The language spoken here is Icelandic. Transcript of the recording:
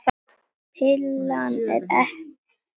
Pillan ekki komin, segi ég.